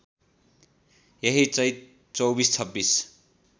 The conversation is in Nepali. यही चैत २४२६